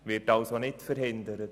Dies wird als nicht verhindert.